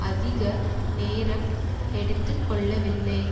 அதிக நேரம் எடுத்து கொள்ளவில்லை